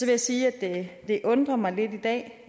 jeg sige at det undrer mig lidt i dag